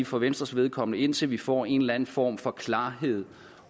for venstres vedkommende indtil vi får en eller anden form for klarhed